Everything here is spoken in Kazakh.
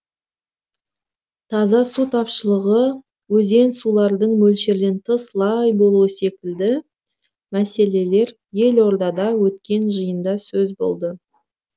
таза су тапшылығы өзен сулардың мөлшерден тыс лай болуы секілді мәселелер елордада өткен жиында сөз болды